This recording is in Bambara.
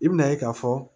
I bɛna ye k'a fɔ